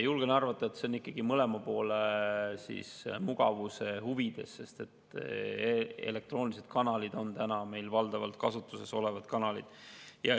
Julgen arvata, et see on ikkagi mõlema poole mugavuse huvides, sest elektroonilised kanalid on meil valdavalt kasutuses olevad kanalid.